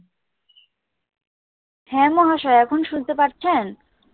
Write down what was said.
হ্যাঁ মহাশয়া। এখন শুনতে পাচ্ছেন?